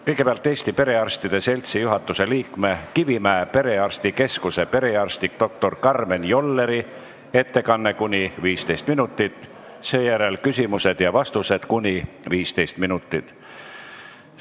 Kõigepealt Eesti Perearstide Seltsi juhatuse liikme, Kivimäe perearstikeskuse perearsti doktor Karmen Jolleri ettekanne kuni 15 minutit, seejärel küsimused ja vastused kuni 15 minutit.